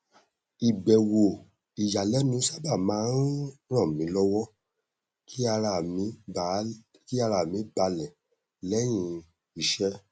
ìbẹwò ìyàlẹnu sábà maá n ràn mí lọwọ kí ara mi balẹ lẹyìn iṣẹ